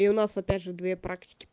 и у нас опять же две практики